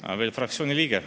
Ta on veel fraktsiooni liige.